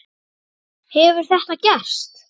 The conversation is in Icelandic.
Hefur þetta gerst?